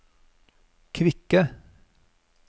kvikke